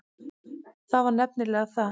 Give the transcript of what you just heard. Það var nefnilega það.